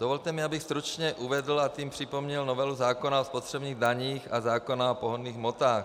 Dovolte mi, abych stručně uvedl a tím připomněl novelu zákona o spotřebních daních a zákona o pohonných hmotách.